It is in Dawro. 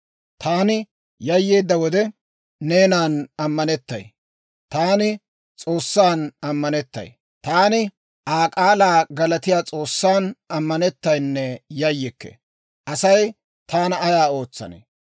Taani S'oossan ammanettay; Taani Aa k'aalaa galatiyaa S'oossan ammanettaynne yayyikke. Asay taana ayaa ootsanee?